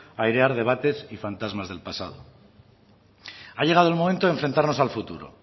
a airear debates y fantasmas del pasado ha llegado el momento de enfrentarnos al futuro